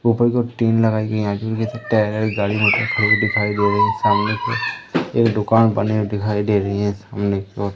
ऊपर को टीन लगायी गयीं है जिनमे से गाड़ी मोटर दिखाई दे रही है सामने एक दुकान बने हुए दिखाई दे रही है सामने की ओर--